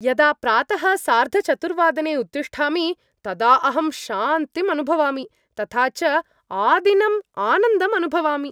यदा प्रातः सार्धचतुर्वादने उत्तिष्ठामि तदा अहं शान्तिम् अनुभवामि, तथा च आदिनम् आनन्दम् अनुभवामि।